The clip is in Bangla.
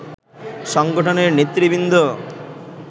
সংগঠনের নেতৃবৃন্দ